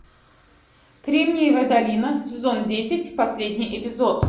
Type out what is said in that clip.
кремниевая долина сезон десять последний эпизод